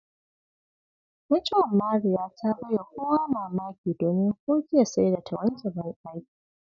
Mutuwar Mariya ta bai wa kowa mamaki, domin ko jiya sai da ta wanke bandaki.